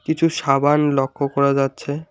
কিছু সাবান লক্ষ্য করা যাচ্ছে।